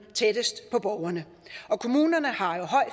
tættest på borgerne og kommunerne har jo høj